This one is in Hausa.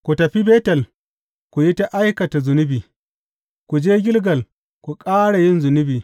Ku tafi Betel ku yi ta aikata zunubi; ku je Gilgal ku ƙara yin zunubi.